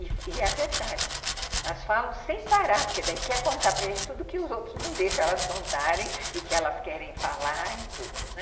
E é verdade, elas falam sem parar, porque daí quer contar para gente tudo que os outros não deixam elas contarem e que elas querem falar e tudo, né?